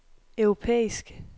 europæisk